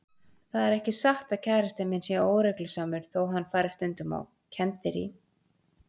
Það er ekki satt að kærastinn minn sé óreglusamur þó hann fari stundum á kenndirí.